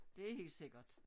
Det er helt sikkert